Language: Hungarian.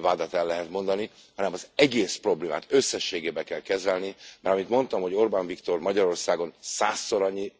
vádat el lehet mondani, hanem az egész problémát összességében kell kezelni, mert amint mondtam, hogy Orbán Viktor Magyarországon százszor annyi